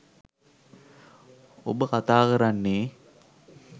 ඔබ කතා කරන්නේ